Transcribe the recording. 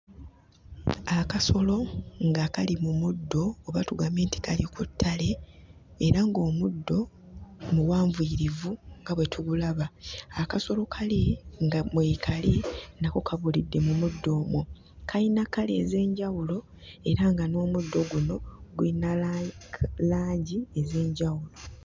Akasolo nga kali mu muddo oba tugambe nti kali ku ttale, era ng'omuddo muwanvuyirivu nga bwe tugulaba. Akasolo kali nga mwekali nako kabulidde mu muddo omwo. Kayina kkala ez'enjawulo era nga n'omuddo guno guyina langi ez'enjawulo.